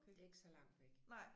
Det ikke så langt væk